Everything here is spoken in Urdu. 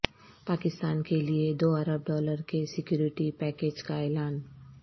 پاکستان کے لیے دو ارب ڈالر کے سکیورٹی پیکج کا اعلان